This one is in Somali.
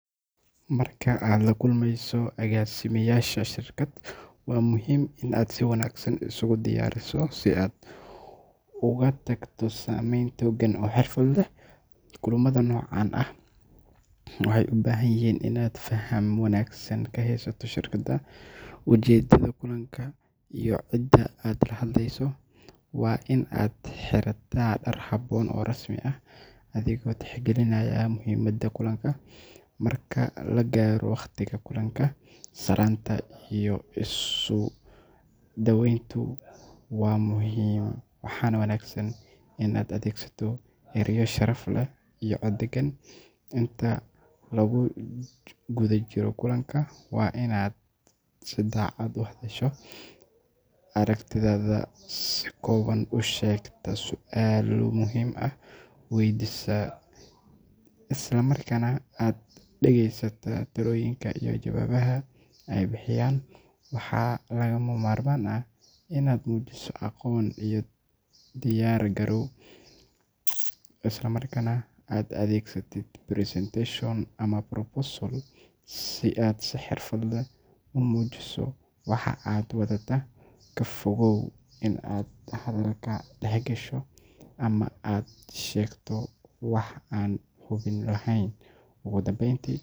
Marka aad la kulmayso agaasimeyaasha shirkad, waa muhiim in aad si wanaagsan isugu diyaariso si aad uga tagto saameyn togan oo xirfad leh. Kulamada noocan ah waxay u baahan yihiin inaad faham wanaagsan ka haysato shirkadda, ujeedada kulanka iyo cidda aad la hadlayso. Waa in aad xirataa dhar habboon oo rasmi ah, adigoo tixgelinaya muhiimadda kulanka. Marka la gaaro waqtiga kulanka, salaanta iyo isu soo dhawayntu waa muhiim, waxaana wanaagsan in aad adeegsato erayo sharaf leh iyo cod deggan. Inta lagu guda jiro kulanka, waa in aad si cad u hadashaa, aragtidaada si kooban u sheegtaa, su’aalo muhiim ah weydiisaa, isla markaana aad dhageysataa talooyinka iyo jawaabaha ay bixiyaan. Waxaa lagama maarmaan ah in aad muujiso aqoon iyo diyaar garow, isla markaana aad adeegsatid presentation ama proposal si aad si xirfad leh u muujiso waxa aad wadataa. Ka fogow in aad hadalka dhex gasho ama aad sheegto wax aan hubin lahayn. Ugu dambeyntii,